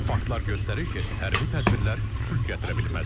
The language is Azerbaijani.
Faktlar göstərir ki, hərbi tədbirlər sülh gətirə bilməz.